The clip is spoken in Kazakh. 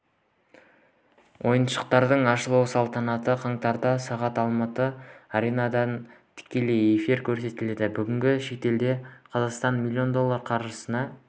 ойындардың ашылу салтанаты қаңтарда сағат алматы аренадан тікелей эфирде көрсетіледі бүгінде шетелде қазақстанның млн доллар қаржысына